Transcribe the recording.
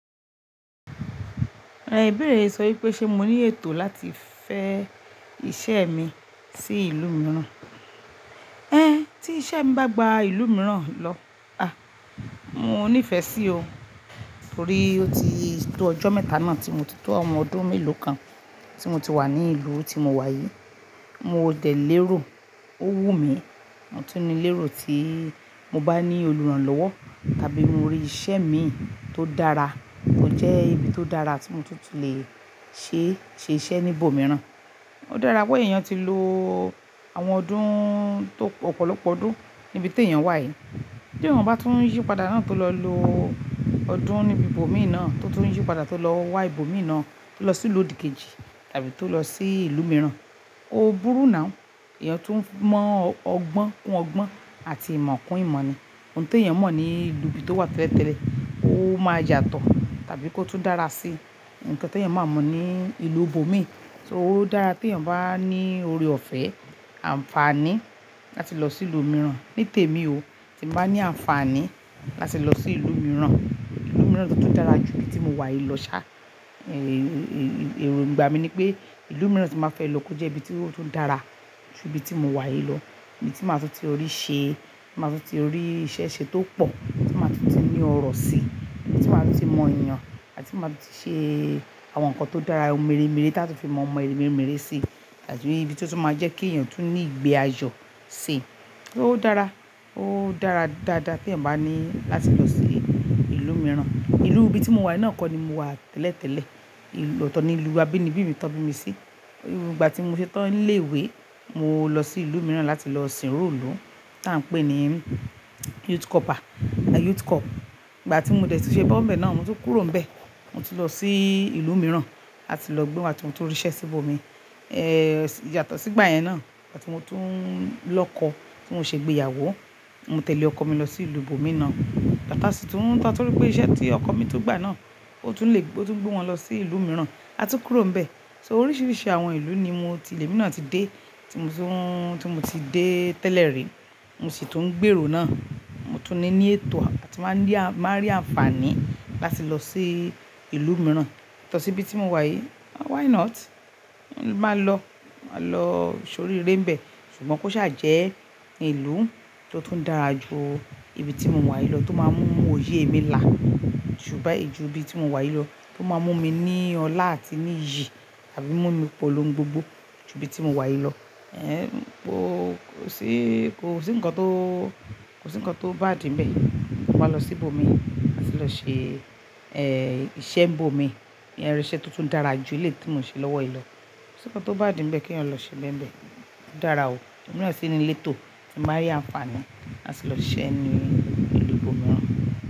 Ẹnìbèrè sọ wípé ṣe mo ní ètò láti fẹ́ iṣẹ́ mi sí ìlú mìíràn. Ẹn, tí iṣẹ́ bá gba ìlú mìíràn lọ, a, mo ní ìfẹ́ sí o. Nítorí ó ti tó ọjọ́ mẹ́ta náà tí mo ti tó ọmọ ọdún mélòó kan tí mo ti wà ní ìlú tí mo wà yìí. Mo dẹ̀ lérò, ó wù mí, mo tún ní lérò tí mo bá ní olùrànlọ́wọ́ tàbí mo rí iṣẹ́ mi tó dára, tó jẹ́ ibi tó dára tí mo tún lè ṣe ṣiṣẹ́ ní ibòmíràn. Ó dára pé èèyàn ti lo àwọn ọdún tó ọ̀pọ̀lọpọ̀ ọdún níbi tí èèyàn wà yìí. Bí èèyàn bá tún yípadà náà tó lọ lo ọdún níbi ibòmíràn, tó tún yípadà tó lọ wá ibòmíràn tó lọ sí ìlú òdìkejì tàbí tó lọ sí ìlú mìíràn, ó burú náà. Ẹ̀yàn tún mọ ọgbọ́n kún ọgbọ́n àti ìmọ̀ kún ìmọ̀ ni. Ohun tí èèyàn mọ̀ ní ìlú ibi tó wà tẹ́lẹ̀tẹ́lẹ̀, ó máa yàtọ̀ tàbí kó tún dára sí nǹkan tí èèyàn máa mọ̀ ní ìlú ibòmíràn. So ó dára pé èèyàn bá ní ori ọ̀fẹ́ àǹfààní láti lọ sí ìlú mìíràn. Ní tèmi o, tí mo bá ní àǹfààní láti lọ sí ìlú mìíràn, ìlú mìíràn tó tún dára ju ibi tí mo wà yìí lọ sá. Ẹ̀rù ìgbà mi ni pé ìlú mìíràn tí màá fẹ́ lọ kó jẹ́ ibi tí ó tún dára ju ibi tí mo wà yìí lọ. Ibi tí màá tún ti rí ìṣe, màá tún ti rí iṣẹ́ ṣe tó pọ̀, tí màá tún ti ní ọrọ̀ sí, tí màá tún ti mọ èèyàn, àti màá tún ṣe àwọn nǹkan tó dára, ohun mèremère tí a tún lè fi mọ ọmọ mèremère sí. Tàbí ibi tí ó tún máa jẹ́ kí èèyàn tún ní ìgbé ayọ̀ sí. Ó dára, ó dára dáadáa tí èèyàn bá ní láti lọ sí ìlú mìíràn. Ìlú ibi tí mo wà yìí náà kọ́ ni mo wà tẹ́lẹ̀tẹ́lẹ̀. Ohun tí èèyàn mọ̀ ní ìlú ibi tó wà tẹ́lẹ̀tẹ́lẹ̀, ó máa yàtọ̀ tàbí kó tún dára sí nǹkan tí èèyàn máa mọ̀ ní ìlú ibòmíràn. So ó dára pé èèyàn bá ní ori ọ̀fẹ́ àǹfààní láti lọ sí ìlú mìíràn. Ìgbà tí mo dẹ̀ ti ṣe bọ́mbẹ̀ náà, mo tún kúrò níbẹ̀. So ó dára pé èèyàn bá ní ori ọ̀fẹ́ àǹfààní láti lọ sí ìlú mìíràn. Ní tèmi o, tí mo bá ní àǹfààní láti lọ sí ìlú mìíràn, ìlú mìíràn tó tún dára ju ibi tí mo wà yìí lọ sá. Ẹ̀rù ìgbà mi ni pé ìlú mìíràn tí màá fẹ́ lọ kó jẹ́ ibi tí ó tún dára ju ibi tí mo wà yìí lọ. A tún kúrò níbẹ̀. Ibi tí màá tún ti rí ìṣe, màá tún ti rí iṣẹ́ ṣe tó pọ̀, tí màá tún ti ní ọrọ̀ sí, tí màá tún ti mọ èèyàn, àti màá tún ṣe àwọn nǹkan tó dára, ohun mèremère tí a tún lè fi mọ ọmọ mèremère sí. Mo sì tún ń gbèrò náà. Tàbí ibi tí ó tún máa jẹ́ kí èèyàn tún ní ìgbé ayọ̀ sí. Lọ́tọ̀ ni ìlú abínibí mi tọ́bi mi sí. Ìgbà tí mo ṣe tán ilé ìwé, mo lọ sí ìlú mìíràn láti lọ sìnró ìlú tí à ń pè ní Youth Corp à, Youth Corp. Ìgbà tí mo dẹ̀ ti ṣe bọ́mbẹ̀ náà, mo tún kúrò níbẹ̀. Mo ti lọ sí ìlú mìíràn láti lọ gbé wá tí mo tó rí iṣẹ́ síbò mi. Eh, yàtọ̀ sí ìgbà yẹn náà, ìgbà tí mo tún lọkọ̀ tí mo ṣe gbé ìyàwó, mo tẹ̀lé ọkọ mi lọ sí ìlú ibòmíràn. Lọ́tọ̀ sí tún tán torí pé iṣẹ́ tí ọkọ mi tún gbà náà ó tún lè gbé wọn lọ sí ìlú mìíràn. So oríṣiríṣi àwọn ìlú ni mo ti-- ilẹ̀ mìíràn ti dé tí mo tún, tí mo ti dé tẹ́lẹ̀ rí. Mo tún ní ní ètò àti máa ní, máa rí àǹfààní láti lọ sí ìlú mìíràn yàtọ̀ sí ibi tí mo wà yìí. Why not? Mo máa lọ, màá lọ sórí eré ń bẹ̀. Sùgbọ́n kó ṣà jẹ́ ìlú tó tún dára ju ibi tí mo wà yìí lọ, tó máa mú oyé mi là.